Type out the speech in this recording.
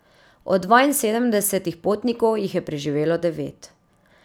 Od dvainsedemdesetih potnikov jih je preživelo devet.